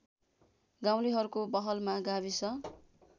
गाउँलेहरूको पहलमा गाविस